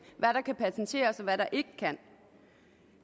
hvad der kan patenteres og hvad der ikke kan